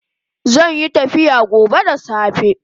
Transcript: Zanyi tafiya gobe da safe